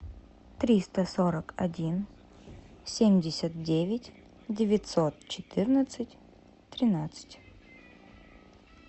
триста сорок один семьдесят девять девятьсот четырнадцать тринадцать